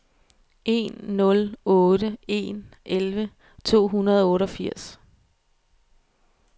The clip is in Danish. en nul otte en elleve to hundrede og otteogfirs